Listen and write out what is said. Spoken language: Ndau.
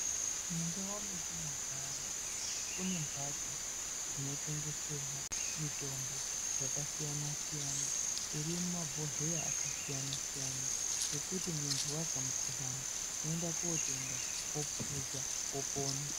Mundau metinogara kune mhatso dzinotengeserwa mitombo yakasiyana- siyana ,iri mumabhodhleya akasiyana-siyana, yekuti munthu azwa mukhuhlani, woenda kotenga, wophuza ,wopona.